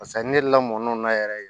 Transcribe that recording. Paseke ne delila mɔnɛw na yɛrɛ